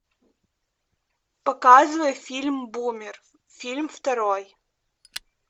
показывай фильм бумер фильм второй